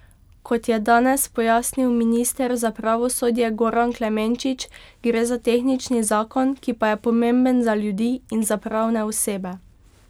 Kot je danes pojasnil minister za pravosodje Goran Klemenčič, gre za tehnični zakon, ki pa je pomemben za ljudi in za pravne osebe.